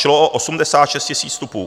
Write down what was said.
Šlo o 86 000 vstupů.